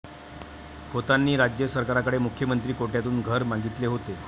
खोतांनी राज्य सरकारकडे मुख्यमंत्री कोट्यातून घर मागितले होते.